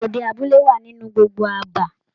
Gbàgede abúlé wà nínú gbogbo àbá.